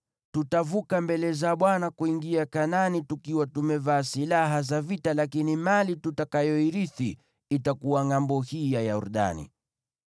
Tutavuka mbele za Bwana kuingia Kanaani tukiwa tumevaa silaha za vita, lakini mali tutakayoirithi itakuwa ngʼambo hii ya Yordani.”